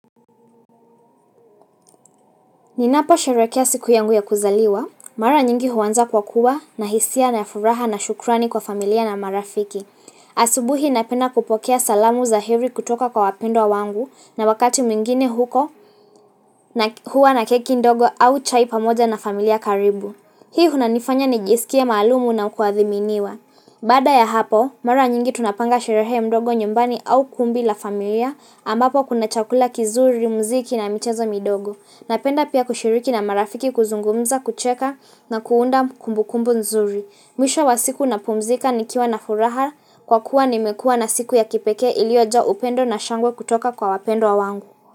Ninapo sherekea siku yangu ya kuzaliwa, mara nyingi huwanza kwa kuwa na hisia na ya furaha na shukrani kwa familia na marafiki. Asubuhi napenda kupokea salamu za heri kutoka kwa wapendwa wangu na wakati mingine huko na huwa na keki ndogo au chai pamoja na familia karibu. Hii hunanifanya ni jisikie malumu na kuadhiminiwa. Bada ya hapo, mara nyingi tunapanga sherehe mdogo nyumbani au kumbi la familia ambapo kuna chakula kizuri, muziki na mchezo midogo. Napenda pia kushiriki na marafiki kuzungumza kucheka na kuunda kumbukumbu nzuri. Mwisho wa siku napumzika nikiwa na furaha kwa kuwa nimekua na siku ya kipeke ilioja upendo na shangwe kutoka kwa wapendwa wangu.